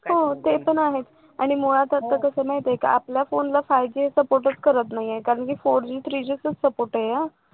हो ते पण आहेच आणि मुळात आता कसा माहिती आहे का आपल्या फोनला five G support च करत नाहीये कारण की four Gthree G चा support आहे हा